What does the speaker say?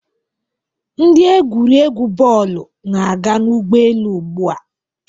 Ndị egwuregwu bọọlụ na-aga n'ụgbọelu ugbua